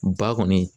Ba kɔni